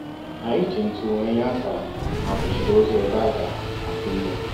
anyị jì ntụ wéé nyé ákàrà maka usoro ụzọ ebe a ga akụ ihe